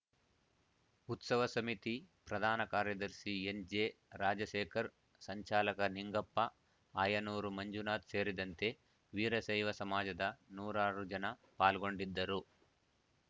ಉತ್ಸವ ಸಮಿತಿ ಪ್ರಧಾನ ಕಾರ್ಯದರ್ಶಿ ಎನ್‌ ಜೆ ರಾಜಶೇಖರ್‌ ಸಂಚಾಲಕ ನಿಂಗಪ್ಪ ಆಯನೂರು ಮಂಜುನಾಥ್‌ ಸೇರಿದಂತೆ ವೀರಶೈವ ಸಮಾಜದ ನೂರಾರು ಜನ ಪಾಲ್ಗೊಂಡಿದ್ದರು